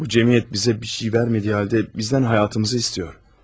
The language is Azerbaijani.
Bu cəmiyyət bizə bir şey vermədiyi halda bizdən həyatımızı istəyir.